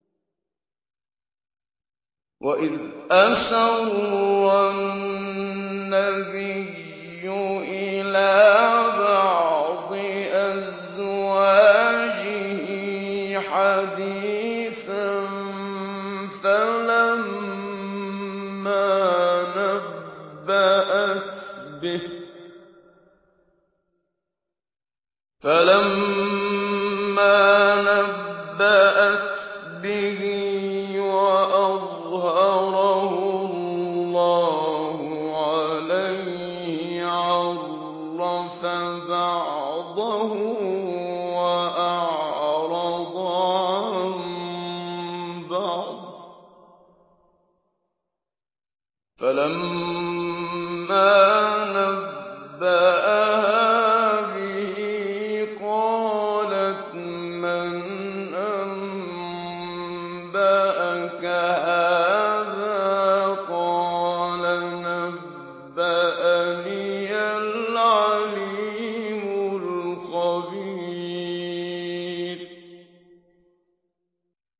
وَإِذْ أَسَرَّ النَّبِيُّ إِلَىٰ بَعْضِ أَزْوَاجِهِ حَدِيثًا فَلَمَّا نَبَّأَتْ بِهِ وَأَظْهَرَهُ اللَّهُ عَلَيْهِ عَرَّفَ بَعْضَهُ وَأَعْرَضَ عَن بَعْضٍ ۖ فَلَمَّا نَبَّأَهَا بِهِ قَالَتْ مَنْ أَنبَأَكَ هَٰذَا ۖ قَالَ نَبَّأَنِيَ الْعَلِيمُ الْخَبِيرُ